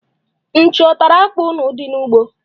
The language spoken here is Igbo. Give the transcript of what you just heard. Nchi ọ tara akpụ unu dị n'ugbo?